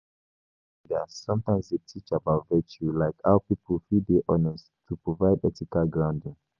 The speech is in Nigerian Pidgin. Religious leaders sometimes dey teach about virtue like how pipo fit dey honest, to provide ethical grounding